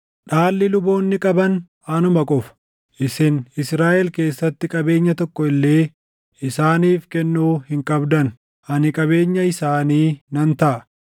“ ‘Dhaalli luboonni qaban anuma qofa. Isin Israaʼel keessatti qabeenya tokko illee isaaniif kennuu hin qabdan; ani qabeenya isaanii nan taʼa.